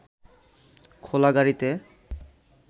খোলা গাড়ীতে